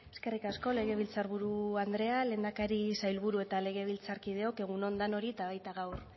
eskerrik asko legebiltzarburu andrea lehendakari sailburu eta legebiltzarkideok egun on danoi eta baita gaur